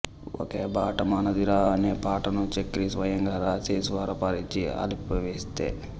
ఒకే బాట మనదిరా అనే పాటను చక్రి స్వయంగా రాసి స్వరపరిచి ఆలపిస్తే